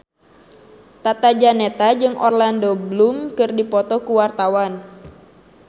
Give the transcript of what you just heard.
Tata Janeta jeung Orlando Bloom keur dipoto ku wartawan